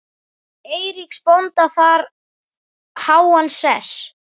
Eiríks bónda þar háan sess.